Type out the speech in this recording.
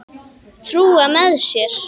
Trúa með sér.